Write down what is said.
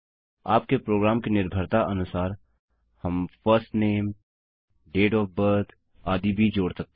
आपके प्रोग्राम की निर्भरता अनुसार हम first name date of birth आदि भी जोड़ सकते हैं